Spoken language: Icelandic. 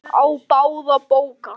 Á báða bóga.